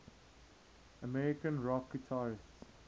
american rock guitarists